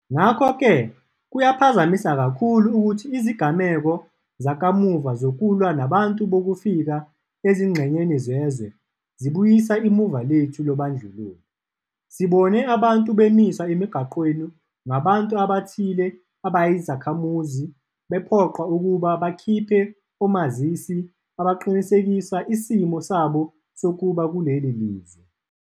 Ngakho-ke kuyaphazamisa kakhulu ukuthi izigameko zakamuva zokulwa nabantu bokufika ezingxenyeni zezwe zibuyisa imuva lethu lobandlululo. Sibone abantu bemiswa emigwaqeni ngabantu abathile abayizakhamuzi bephoqwa ukuba bakhiphe omazisi abaqinisekisa isimo sabo sokuba kuleli lizwe.